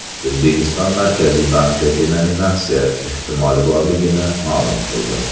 O‘zbekiston Markaziy banki denominatsiya ehtimoli borligini ma’lum qildi.